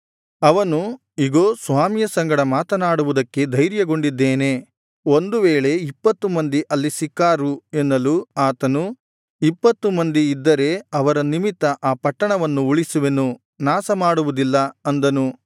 ಅವನು ಇಗೋ ಸ್ವಾಮಿಯ ಸಂಗಡ ಮಾತನಾಡುವುದಕ್ಕೆ ಧೈರ್ಯಗೊಂಡಿದ್ದೇನೆ ಒಂದು ವೇಳೆ ಇಪ್ಪತ್ತು ಮಂದಿ ಅಲ್ಲಿ ಸಿಕ್ಕಾರು ಎನ್ನಲು ಆತನು ಇಪ್ಪತ್ತು ಮಂದಿಯಿದ್ದರೆ ಅವರ ನಿಮಿತ್ತ ಆ ಪಟ್ಟಣವನ್ನು ಉಳಿಸುವೆನು ನಾಶ ಮಾಡುವುದಿಲ್ಲ ಅಂದನು